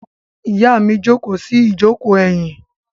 Ìyá mi jókòó sí ìjókòó ẹ̀yìn.